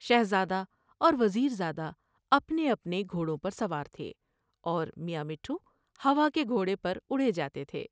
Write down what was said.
شہزادہ اور وزیر زادہ اپنے اپنے گھوڑوں پر سوار تھے اور میاں مٹھو ہوا کے گھوڑے پراڑے جاتے تھے ۔